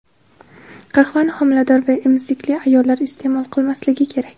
qahvani homilador va emizikli ayollar iste’mol qilmasligi kerak.